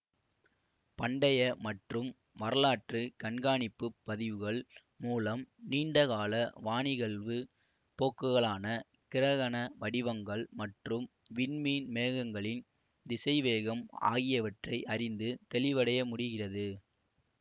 பண்டைய மற்றும் வரலாற்று கண்காணிப்பு பதிவுகள் மூலம் நீண்ட கால வானிகழ்வு போக்குகளான கிரகண வடிவங்கள் மற்றும் விண்மீன் மேகங்களின் திசைவேகம் ஆகியவற்றை அறிந்து தெளிவடைய முடிகிறது